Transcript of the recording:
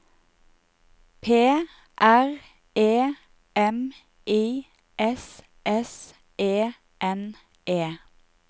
P R E M I S S E N E